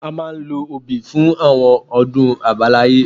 A máa ń lo obì fún àwọn ọdún àbáláyé